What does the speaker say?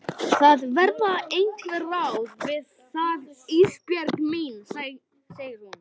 Það verða einhver ráð með það Ísbjörg mín, segir hún.